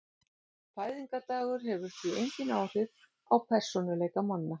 Fæðingardagur hefur því engin áhrif á persónuleika manna.